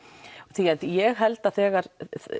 því að ég held þegar